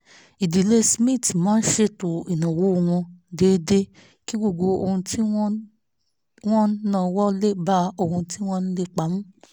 ìdílé smith máa ń ṣètò ìnáwó wọn déédéé kí gbogbo ohun tí wọ́n ń wọ́n ń náwó lé bá ohun tí wọ́n ń lépa mu